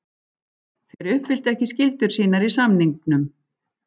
Þeir uppfylltu ekki skyldur sínar í samningnum.